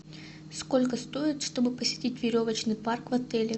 сколько стоит чтобы посетить веревочный парк в отеле